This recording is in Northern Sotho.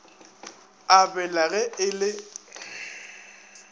a bela ge e le